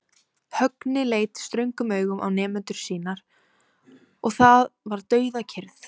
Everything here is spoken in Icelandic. Högni leit ströngum augum á nemendur sína og það varð dauðakyrrð.